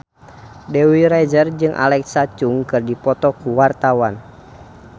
Dewi Rezer jeung Alexa Chung keur dipoto ku wartawan